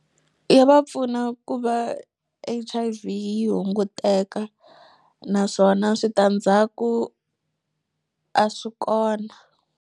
Ya va pfuna ku va H_I_V yi hunguteka naswona switandzhaku a swi kona.